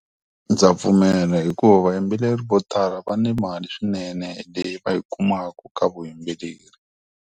Ndza pfumela hikuva vayimbeleri vo tala va ni mali swinene leyi va yi kumaka ka vuyimbeleri.